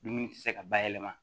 Dumuni ti se ka bayɛlɛma